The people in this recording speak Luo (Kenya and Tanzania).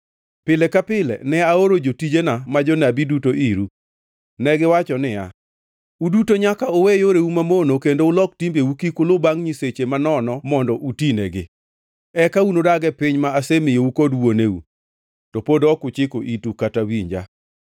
Pile ka pile ne aoro jotijena ma jonabi duto iru. Negiwacho niya, “Uduto nyaka uwe yoreu mamono kendo ulok timbeu; kik ulu bangʼ nyiseche manono mondo utinegi. Eka udag e piny ma asemiyou kod wuoneu.” To pod ok uchiko itu kata winja.